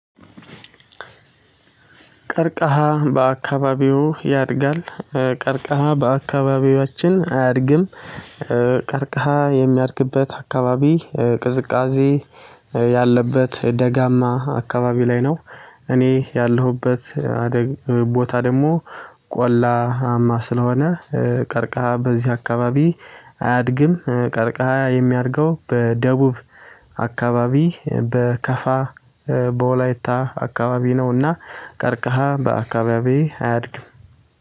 ቀርቃሃ በአካባቢው ያድጋል። ቀርቃሃ በአካባቢያችን አያድግም። ቀርቃሃ የሚያድግበት አካባቢ ቅዝቃዜ ያለበት ደጋማ አካባቢ ላይ ነው። እኔ ያለሁበት። ቦታ ደግሞ ቆላማ ስለሆነ ቀርቃሃ በዚህ አካባቢ አያድግም። ቀርቀሃ የሚያደርገው በደቡብ አካባቢ በከፋ በወላይታ አካባቢ ነውና ቀርቀሃ በአካባቢዬ አያድግም